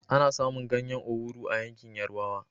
Ana samun ganyan owuro a yankin yarabawa